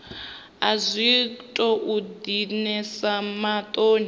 a zwi tou dinesa maṱoni